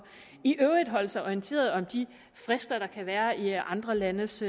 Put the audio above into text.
i øvrigt skulle holde sig orienteret om de frister der kan være i andre landes